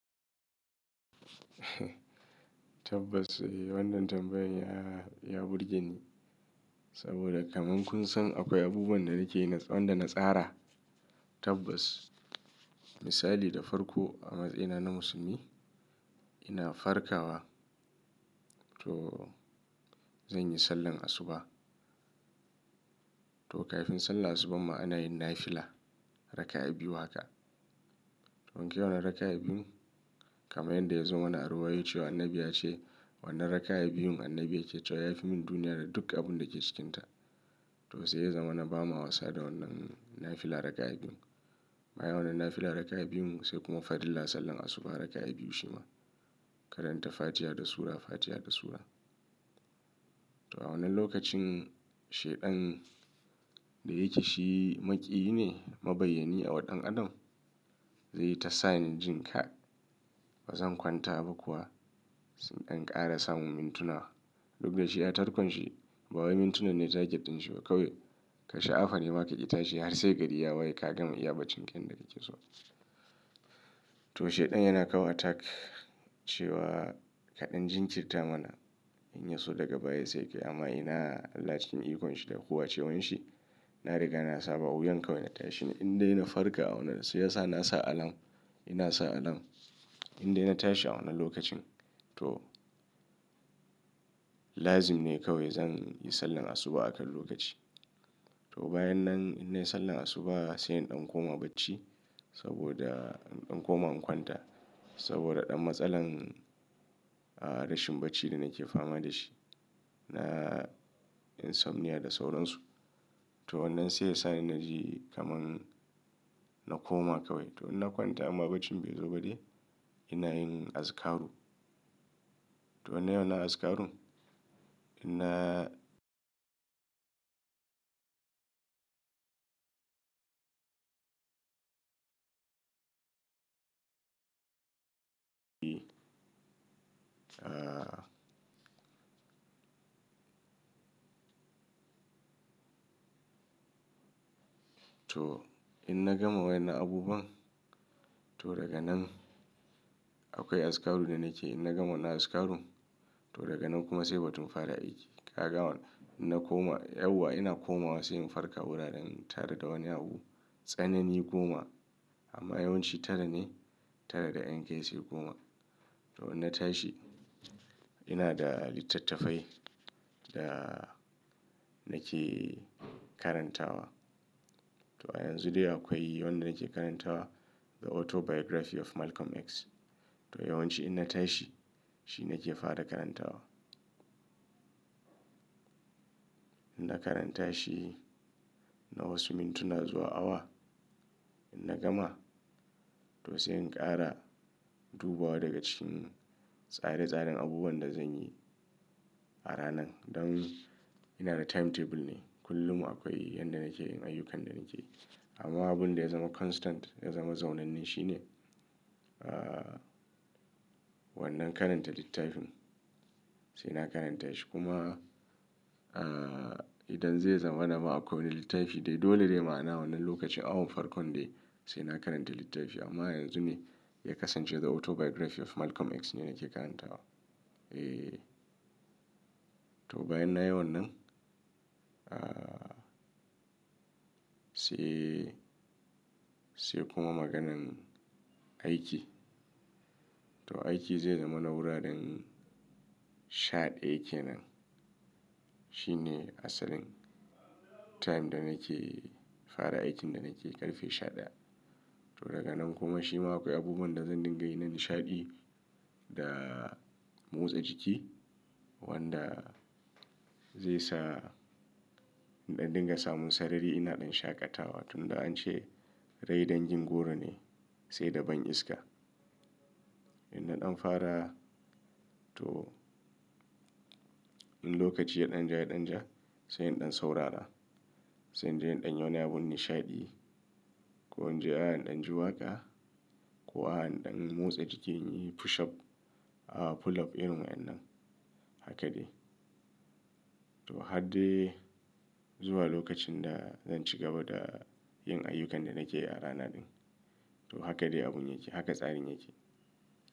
Tabbas wannan tambayar ya burge ni saboda kaman kun san akwai abubuwan da nake wanda na tsara tabbas misali da farko a matsayina na musulmi ina farkawa to zan yi sallar asuba to kafin sallar asuba ma ana yin nafila raka'a biyu haka don kyawun raka'a biyun kamar yadda ya zama wani arowa yace wa annabi ya ce wannan raka'a biyun annabi ya ce cewa ya fi min duniya da duk abun da ke cikinta to sai ya zama na ba ma Hausa da wannan nafila raka'a biyun amma yawanan nafila raka'a biyun sai kuma farilla sallar asuba raka'a biyu shima karanta fatiha da sura fatiha da sura to a wannan lokacin shaidan da yake shi maƙiyi ne mabiyyani a waɗannan adon zai tasa ni jin ka bazan kwanta ba kuwa sai in ɗan ƙara samu mintuna duk da shi ya tarkon shi bawain mintunan ne target ɗin shi ba kawai ka sha'afa ne ma kaƙe itashi har sai gari ya waye ka gan ma iyaba cinken da yake so to shaidan yana kawo attack cewa kaɗan jinkirta mana in yi so daga baya sai kai amma ina Allah cikin ikonshi da huhu wace wanshi na riga na saba wuyan kawai na tashi in dai na farka a wannan sai ya sa na sa alam ina sa alam in dai na tashi a wannan lokacin to lazim ne kawai zan yi sallar asuba akan lokaci to bayan nan in dai sallar asuba sai in ɗan koma bacci saboda in ɗan koma in kwanta saboda ɗan matsalan rashin bacci da nake fama da shi na insomnia da sauransu to wannan sai ya sa ina ji kaman na koma kawai to in na kwanta amma bacci bai zo ba dai ina yin azikaru to ina yawan azikaru ina to in na gama wani abubuwan to daga nan akwai azikaru da nake in na gama wannan azikaru to daga nan kuma sai batun fara aiki ka ga wannan in na koma yauwa ina komawa sai mun farka wuraren tara da wani abu tsanani goma amma yawanci tara ne tara da 'yan kai se goma to in na tashi ina da littattafai da nake karantawa to a yanzu dai akwai wanda nake karantawa The Autobiography of Malcolm X to yawanci in na tashi shi nake fara karantawa in na karanta shi nawa su mintuna zuwa awa in na gama to sai in ƙara dubawa daga cikin tsare tsaren abubuwan da zan yi a ranan don ina da timetable ne kullum akwai yanda nake yin ayyukan da nake yi amma abun da ya zama constant ya zama zaunannin shine wannan karanta littafin sai na karanta shi kuma idan zai zama na ma akwai wani littafi dai dole ne ma na wannan lokacin awon farkon dai sai na karanta littafi amma yanzu ne ya kasance The Autobiography of Malcolm X ne nake karantawa eh to bayan na yi wannan sai sai kuma maganan aiki to aiki zai zama na wuraren shaɗaya kenan shi ne asalin time da nake fara aikin da nake ƙarfe shaɗaya to daga nan kuma shima akwai abubuwan da zan dinga yi na nishaɗi da motsa jiki wanda zai sa in dinga samun sarari ina ɗan shaƙatawa tun da an ce rai dan jin goro ne sai da ban iska in na ɗan fara to in lokaci ya ɗan ja ya ɗan ja sai in ɗan saurara sai in je in ɗan yawan yi abun nishaɗi ko in je a han ɗan ji waka ko a han ɗan motsa jiki in yi push up pull up irin wa'annan haka dai to har dai zuwa lokacin da zan cigaba da yin ayyukan da nake yi a rana din to haka dai abun yake haka tsarin yake.